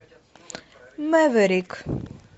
мэверик